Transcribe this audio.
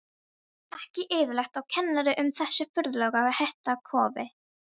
Ekki eðlilegt, og kennir um þessu furðulega hitakófi.